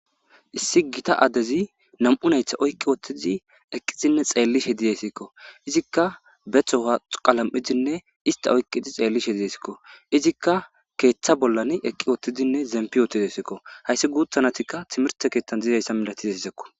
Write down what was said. Issi gita adezi nam'u dhaytta oykkidinne xellishe de'iyayssako be toho qalm'idi istta oykiddi xelishe de'esko izikka keththa bolla zempidi dees hayssi gutha nayti timirteson dizayssa malatizayssako.